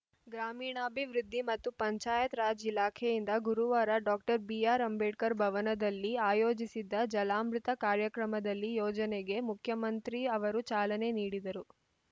ಗ್ರಾಮೀಣಾಭಿವೃದ್ಧಿ ಮತ್ತು ಪಂಚಾಯತ್‌ ರಾಜ್‌ ಇಲಾಖೆಯಿಂದ ಗುರುವಾರ ಡಾಕ್ಟರ್ ಬಿಆರ್‌ಅಂಬೇಡ್ಕರ್‌ ಭವನದಲ್ಲಿ ಆಯೋಜಿಸಿದ್ದ ಜಲಾಮೃತ ಕಾರ್ಯಕ್ರಮದಲ್ಲಿ ಯೋಜನೆಗೆ ಮುಖ್ಯಮಂತ್ರಿ ಅವರು ಚಾಲನೆ ನೀಡಿದರು